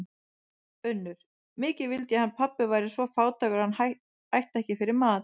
UNNUR: Mikið vildi ég hann pabbi væri svo fátækur að hann ætti ekki fyrir mat.